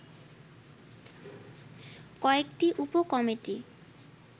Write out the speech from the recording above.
কয়েকটি উপ কমিটি